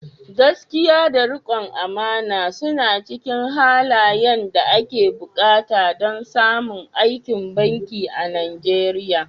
Gaskiya da rikon amana suna cikin halayen da ake buƙata don samun aikin banki a Najeriya."